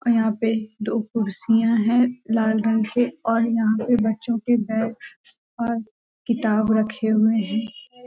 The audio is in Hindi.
यहां पे दो कुर्सियां है लाल रंग के और यहां पे बच्चों के बैग्स और किताब रखे हुए हैं ।